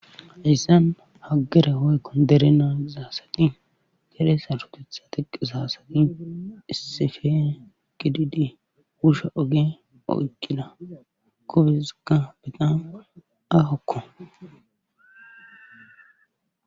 Haysan havere woyko dere nagiza asati dere sarotetha nagiza asati issippe gidid wusha oge oyqida ogezika aahoko.